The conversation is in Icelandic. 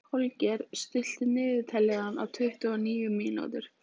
Holger, stilltu niðurteljara á tuttugu og níu mínútur.